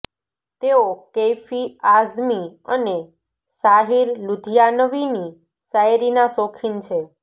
તેઓ કૈફી આઝમી અને સાહિર લુધિયાનવીની શાયરીના શોખીન છે